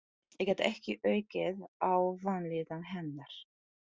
Ég gat ekki aukið á vanlíðan hennar.